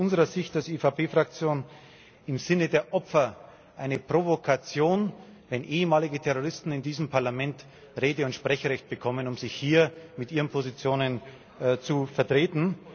Es ist aus unserer Sicht als EVP Fraktion im Sinne der Opfer eine Provokation, wenn ehemalige Terroristen in diesem Parlament Rede und Sprechrecht bekommen, um hier ihre Positionen zu vertreten.